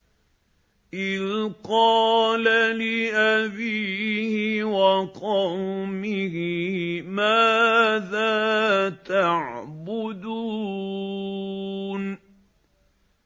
إِذْ قَالَ لِأَبِيهِ وَقَوْمِهِ مَاذَا تَعْبُدُونَ